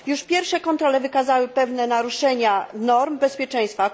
Już pierwsze kontrole wykazały pewne naruszenia norm bezpieczeństwa.